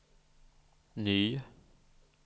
ny